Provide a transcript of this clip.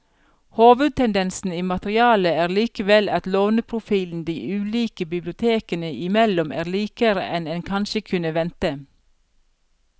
Hovedtendensen i materialet er likevel at låneprofilen de ulike bibliotekene imellom er likere enn en kanskje kunne vente.